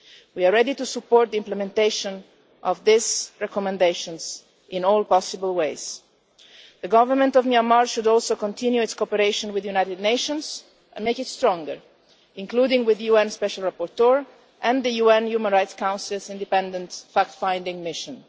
We are ready to support the implementation of these recommendations in all possible ways. The Government of Myanmar should also continue its cooperation with the United Nations and make it stronger including with the UN Special Rapporteur and the UN Human Rights Council's independent fact finding mission.